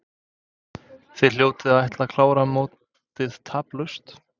Þið hljótið að ætla að klára mótið taplaust?